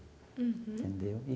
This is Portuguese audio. Uhum. Entendeu?